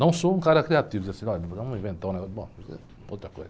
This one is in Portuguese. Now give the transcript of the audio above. Não sou um cara criativo, dizer assim, vamos inventar um negócio, bom, isso aí é outra coisa.